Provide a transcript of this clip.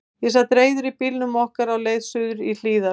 Ég sat reiður í bílnum okkar á leið suður í Hlíðar.